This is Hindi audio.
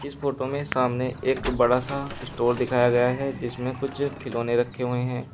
इस फोटो में सामने एक बड़ा सा स्टोर दिखाया गया है जिसमें कुछ खिलौने रखे हुए हैं।